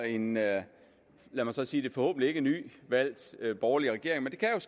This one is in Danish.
en lad lad mig så sige det forhåbentlig ikke nyvalgt borgerlig regering men